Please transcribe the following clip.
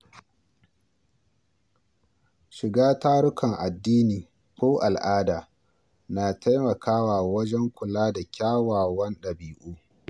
Shiga tarukan addini ko al’ada na taimakawa wajen kula da kyawawan ɗabi’u.